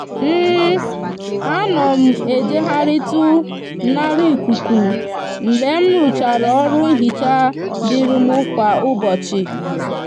a no m ejegharitu nara ikuku mgbe mruchara oru nhicha diri mu kwa ubochi